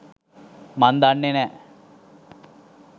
මං දන්නෙ නෑ.